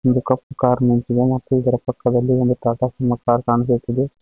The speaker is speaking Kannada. ಒಂದು ಕಪ್ ಕಾರ್ ನಿಂತಿದೆ ಮತ್ತು ಇದರ ಪಕ್ಕದಲ್ಲಿ ಒಂದು ಟಾಟಾ ಸುಮೋ ಕಾರ್ ಕಾಣಿಸುತ್ತಿದೆ.